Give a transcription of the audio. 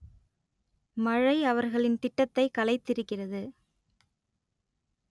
மழை அவர்களின் திட்டத்தை கலைத்திருக்கிறது